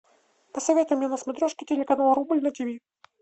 посоветуй мне на смотрешке телеканал рубль на тв